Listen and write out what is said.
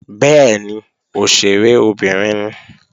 Bẹ́ẹ̀ni, òṣèré obìnrin ni